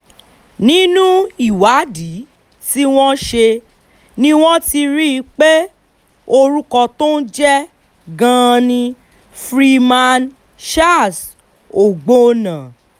nínú ìwádìí tí wọ́n ṣe ni wọ́n ti rí i pé orúkọ tó ń jẹ́ gangan ni freeman charles ọgbọ́nna